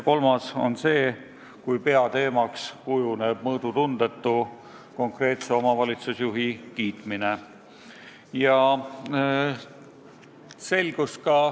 Kolmas on see, kui peateemaks kujuneb mõõdutundetu konkreetse omavalitsusjuhi kiitmine.